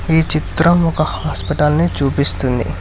ఈ చిత్రం ఒక హాస్పిటల్ ని చూపిస్తుంది.